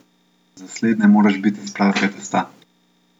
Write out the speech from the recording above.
Za slednje moraš biti iz pravega testa!